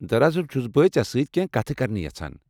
دراصل چُھس بہٕ ژےٚ سۭتۍ کینٛہہ کتھ کرٕنہِ یژھان ۔